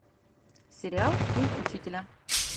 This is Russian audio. сериал день учителя